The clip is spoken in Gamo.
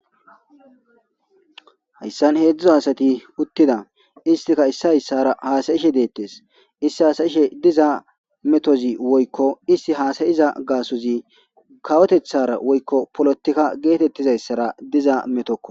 Hayssan hedzdzu asati uttida isttika isay issara hassayishe dettes isstika hassayishe diza mettozi woyikko issti hasayiza gassozi kawoteththara woyikko polletika gettetizaysara dizza mettokko.